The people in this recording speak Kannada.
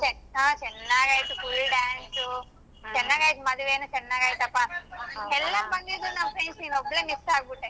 ಚೆನ್ನ~ ಚೆನ್ನಾಗಾಯ್ತು full dance ಚೆನ್ನಾಗಾಯ್ತು ಮದ್ವೆನು ಚೆನ್ನಾಗಾಯ್ತಪ್ಪ ಎಲ್ಲರೂ ಬಂದಿದ್ರು ನಮ್ friends ನೀನೊಬ್ಬಳೇ miss ಆಗಬಿಟ್ಟೇ.